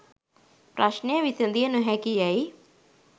ප්‍රශ්න විසඳිය නොහැකි යැයි